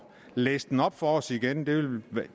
læse den op for os igen